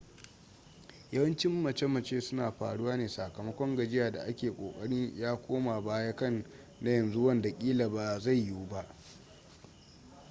yawancin mace-mace suna faruwa ne sakamakon gajiya da ke ƙoƙari ya koma baya kan na yanzu wanda ƙila ba zai yiwu ba